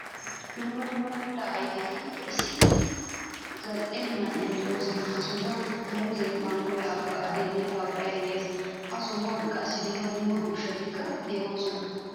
Dumma dumma mittaa ayfeti issi zal'e man'iyan deosona. Ha sohuwan muuzze, manggoy, avokadoynne pappaye de'ees. Ha sohuwan qassi dumma dumma ushshatika deosona.